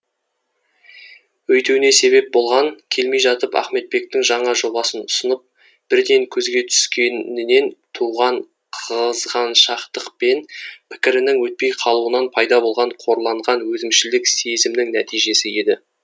өйтуіне себеп болған келмей жатып ахметбектің жаңа жоба ұсынып бірден көзге түскенінен туған қызғаншақтықпен пікірінің өтпей қалуынан пайда болған қорланған өзімшілдік сезімнің нәтижесі еді